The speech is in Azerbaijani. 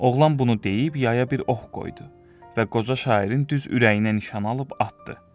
Oğlan bunu deyib yaya bir ox qoydu və qoca şairin düz ürəyinə nişan alıb atdı.